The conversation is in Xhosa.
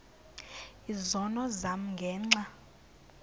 izono zam ngenxa